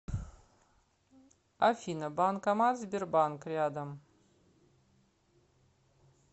афина банкомат сбербанк рядом